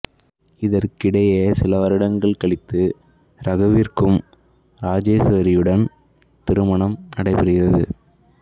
இதற்கிடையே சில வருடங்கள் கழித்து ரகுவிற்கு ராஜேஸ்வரியுடன் திருமணம் நடைபெறுகிறது